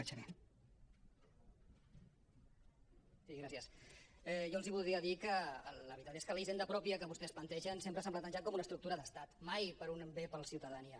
bé jo els voldria dir que la veritat és que la hisenda pròpia que vostès plantegen sempre s’ha plantejat com una estructura d’estat mai per a un bé per a la ciutadania